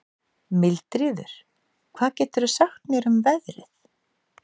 Mildríður, hvað geturðu sagt mér um veðrið?